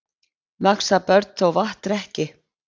Vaxa börn þó vatn drekki.